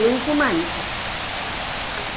એ ઉપમાન છે.